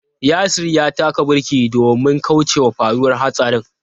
Yasir ya taka birki domin kaucewa faruwar hatsarin.